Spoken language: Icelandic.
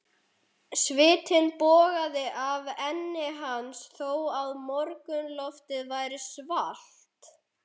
Svitinn bogaði af enni hans þó að morgunloftið væri svalt.